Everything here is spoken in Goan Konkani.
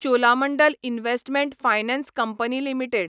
Cholamandalam investment finance company limited